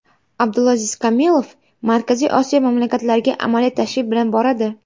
Abdulaziz Komilov Markaziy Osiyo mamlakatlariga amaliy tashrif bilan boradi.